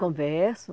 Conversam.